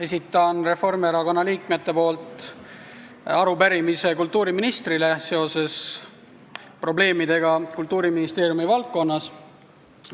Esitan Reformierakonna liikmete nimel arupärimise kultuuriministrile seoses probleemidega Kultuuriministeeriumi valdkonnas.